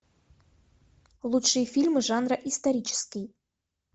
лучшие фильмы жанра исторический